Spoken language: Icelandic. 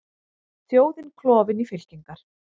Þjóðin klofin í fylkingar